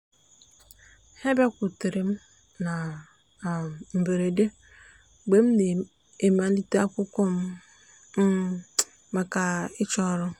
ha bịakwutere m na um mberede mgbe m na-emelite akwụkwọ m um maka ịchọ ọrụ.